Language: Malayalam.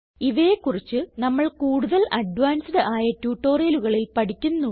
ഇവയെ കുറിച്ച് നമ്മൾ കൂടുതൽ അഡ്വാൻസ്ഡ് ആയ ട്യൂട്ടോറിയലുകളിൽ പഠിക്കുന്നു